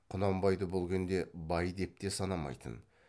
құнанбайды бұл күнде бай деп те санамайтын